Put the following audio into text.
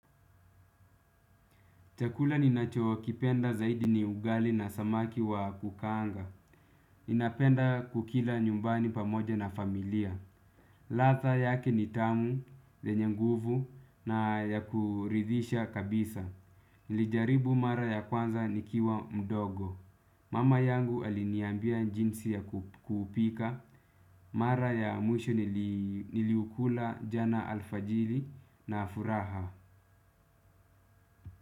Chakula ninachokipenda zaidi; ni ugali na samaki wa kukaanga. Ninapenda kukila nyumbani pamoja na familia. Ladha yake ni tamu, yenye nguvu na ya kuridhisha kabisa. Nilijaribu mara ya kwanza nikiwa mdogo. Mama yangu aliniambia jinsi ya kupika. Mara ya mwisho niliukula jana alfajiri na furaha.